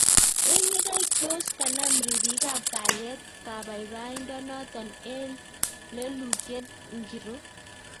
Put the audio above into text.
Eng yekai tos kanam ripik ap kalyet kapaipaindo notok eng lelutyeet ngiroo?